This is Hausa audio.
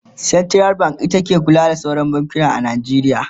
central bank ita ke kula da sauran bankuna a Najeriya